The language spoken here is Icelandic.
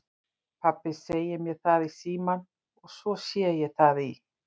Pabbi segir mér það í símann og svo sé ég það í